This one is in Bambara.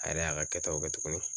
A yɛrɛ y'a ka kɛtaw kɛ tuguni